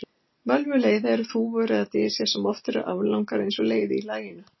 Völvuleiði eru þúfur eða dysjar sem oft eru aflangar og eins og leiði í laginu.